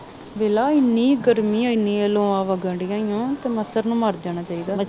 ਵੇਖਲਾ ਇੰਨੀ ਗਰਮੀ ਇੰਨੀਆਂ ਲੋਆਂ ਵਗਣ ਦੀਆਂ ਉਹ ਤੇ ਮੱਛਰ ਨੂੰ ਮਰ ਜਾਣਾ ਚਾਹੀਦਾ